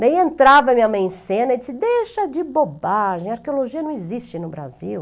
Daí entrava minha mãe em cena e disse, deixa de bobagem, arqueologia não existe no Brasil.